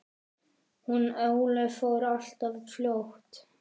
Hún Ólöf fór alltof fljótt.